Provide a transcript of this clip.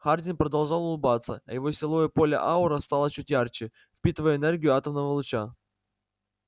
хардин продолжал улыбаться а его силовое поле-аура стало чуть ярче впитывая энергию атомного луча